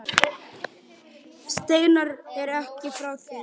Steinar er ekki frá því.